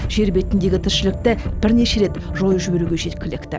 жер бетіндегі тіршілікті бірнеше рет жойып жіберуге жеткілікті